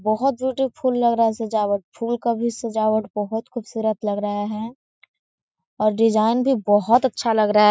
बहोत ब्यूटीफुल लग रहा है सजावट फूल का भी सजावट बहोत खुबसूरत लग रहा है और डिजाईन भी बहोत अच्छा लग रहा है।